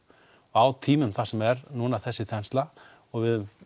á tímum þar sem er þessi þensla og við höfum